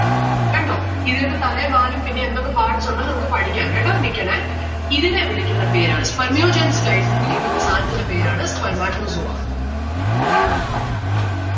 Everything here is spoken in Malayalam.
കണ്ടോ? ഇതിങ്ങക്ക് തലെം വാലും പിന്നെ എന്തൊക്കെ parts ഉണ്ട് നമ്മുക്ക് പഠിക്കാം കേട്ടോ നിക്കണേ ഇതിനെ വിളിക്കുന്ന പേരാണ് Spermiogenesis കഴിഞ്ഞി കിട്ടുന്ന സാനത്തിന്റെ പേരാണ് spermatozoa